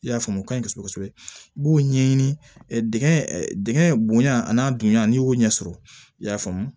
I y'a faamu o ka ɲi kosɛbɛ kosɛbɛ i b'o ɲɛɲini digɛn bonya a n'a dunya n'i y'o ɲɛsɔrɔ i y'a faamu